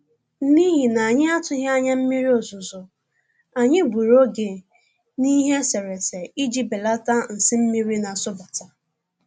N'ihi anyị atụghị anya mmiri ozuzo, anyị gburu oge n'ihe eserese iji belata nsi mmiri na-asụbata